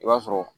I b'a sɔrɔ